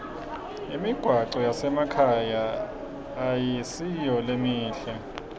imigwaco yasemakhaya ayisiyo lemihle